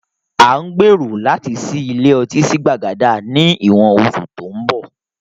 À ń gbèrò láti ṣí ilé ọtí sí Gbàgádà ni ìwọ̀n oṣù tó ń bọ̀ lóun